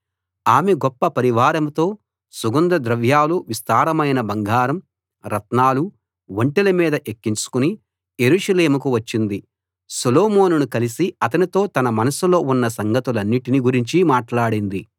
ఆమె గొప్ప పరివారంతో సుగంధ ద్రవ్యాలు విస్తారమైన బంగారం రత్నాలు ఒంటెల మీద ఎక్కించుకుని యెరూషలేముకు వచ్చింది సొలొమోనును కలిసి అతనితో తన మనసులో ఉన్న సంగతులన్నిటిని గురించి మాటలాడింది